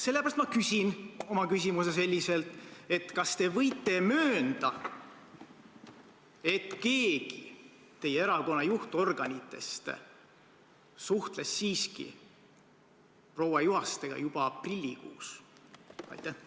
Sellepärast ma küsin oma küsimuse selliselt: kas te võite möönda, et keegi teie erakonna juhtorganitest suhtles siiski proua Juhastega juba aprillikuus?